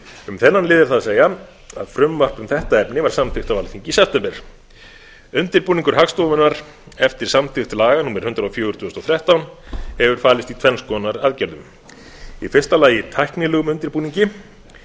um þennan lið er það að segja að frumvarp um þetta efni var samþykkt á alþingi í september undirbúningur hagstofunnar eftir samþykkt laga númer hundrað og fjögur tvö þúsund og þrettán hefur falist í tvenns konar aðgerðum í fyrsta lagi tæknilegum undirbúningi